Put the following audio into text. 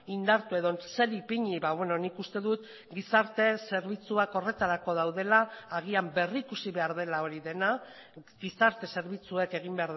indartu edo zer ipini nik uste dut gizarte zerbitzuak horretarako daudela agian berrikusi behar dela hori dena gizarte zerbitzuek egin